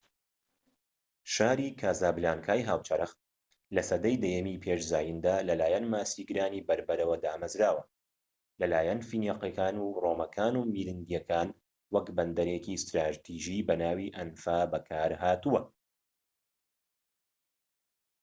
شاری کاسابلانکای هاوچەرخ لە سەدەی دەیەمی پێش زایندا لەلایەن ماسیگرانی بەربەرەوە دامەزراوە و لەلایەن فینیقیەکان و ڕۆمەکان و میرنیدەکان وەک بەندەرێکی ستراتیژی بەناوی ئەنفا بەکار هاتووە